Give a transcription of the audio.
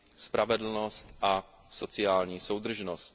spravedlnost a sociální soudržnost.